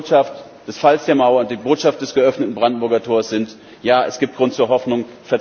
Die Botschaft des Falls der Mauer, die Botschaft des geöffneten Brandenburger Tors ist Ja, es gibt Grund zur Hoffnung.